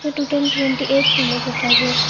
Total twenty eight फूलों के tub है।